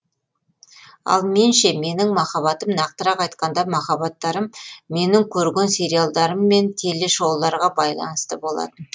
ал мен ше менің махаббатым нақтырақ айтқанда махаббаттарым менің көрген сериалдарым мен теле шоуларға байланысты болатын